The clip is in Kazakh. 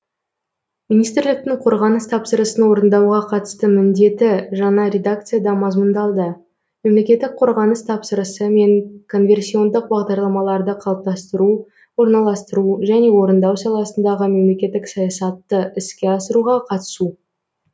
министрліктің қорғаныс тапсырысын орындауға қатысты міндеті жаңа редакцияда мазмұндалды мемлекеттік қорғаныс тапсырысы мен конверсиондық бағдарламаларды қалыптастыру орналастыру және орындау саласындағы мемлекеттік саясатты іске асыруға қатысу